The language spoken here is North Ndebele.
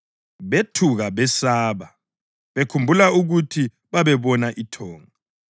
Bethuka besaba, bekhumbula ukuthi babebona ithonga